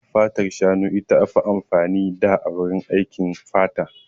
Fatar shanu ita aka fi amfani da a wurin aikin fata.